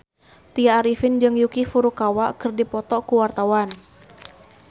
Tya Arifin jeung Yuki Furukawa keur dipoto ku wartawan